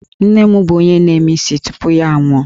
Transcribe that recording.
Nne m bụ onye na-eme isi tupu ya anwụọ